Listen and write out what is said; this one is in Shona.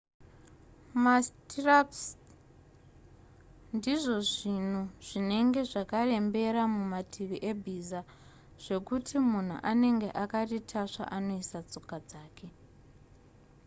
mastrirups ndizvo zvinhu zvinenge zvakarembera mumativi ebhiza zvekuti munhu anenge akaritasva anoisa tsoka dzake